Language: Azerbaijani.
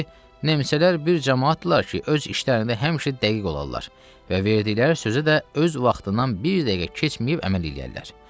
Dedi: Nemsələr bir camaatdırlar ki, öz işlərində həmişə dəqiq olarlar və verdikləri sözə də öz vaxtından bir dəqiqə keçməyib əməl eləyərlər.